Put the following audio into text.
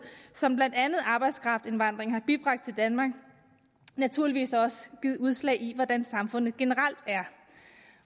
som blandt andet arbejdskraftindvandringen har bibragt danmark naturligvis også givet udslag i hvordan samfundet generelt er